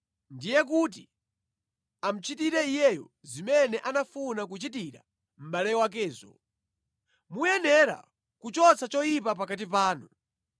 ndiye kuti amuchitire iyeyo zimene anafuna kuchitira mʼbale wakezo. Muyenera kuchotsa choyipa pakati panu.